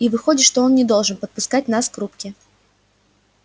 и выходит что он не должен подпускать нас к рубке